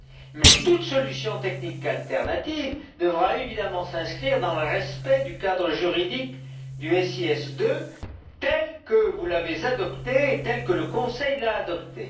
Mais toute solution technique alternative devra évidemment s'inscrire dans le respect du cadre juridique du SIS II tel que vous l'avez adopté et tel que le Conseil l'a adopté.